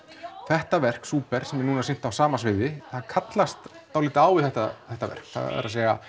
þetta verk Súper sem er núna sýnt á sama sviði það kallast dálítið á við þetta þetta verk það er